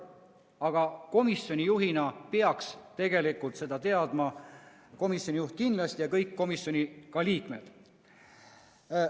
Aga komisjoni juht peaks tegelikult seda teadma – nii komisjoni juht kui ka kõik komisjoni liikmed.